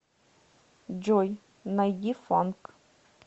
джой найди фанк